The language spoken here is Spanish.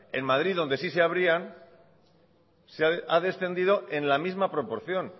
en madrid donde sí se abrían ha descendido en la misma proporción